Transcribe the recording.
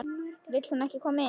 Vill hún ekki koma inn?